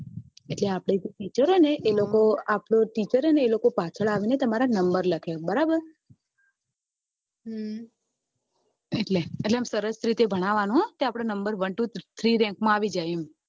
એટલે આપડે જે teacher હોય એ લોકો પાછળ આવી ને તમારા number લખે બરાબર એટલે આમ સરસ રીતે ભણાવવા નું one two three rank ની અંદર આવી જાય